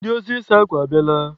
Ndị ozi ịsa akwa a bịala?